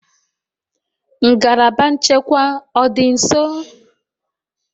Ngalaba nchekwa ọ dị nso?